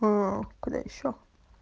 а куда ещё